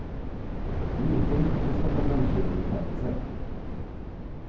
Nu gick det inte som förbundsledningen tänkt sig.